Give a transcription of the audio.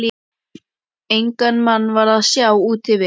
Engan mann var að sjá úti við.